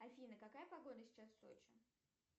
афина какая погода сейчас в сочи